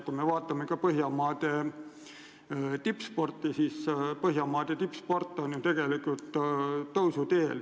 Kui me vaatame Põhjamaade tippsporti, siis ka tippsport on ju seal tõusuteel.